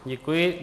Děkuji.